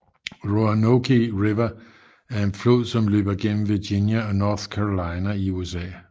Roanoke River er en flod som løber gennem Virginia og North Carolina i USA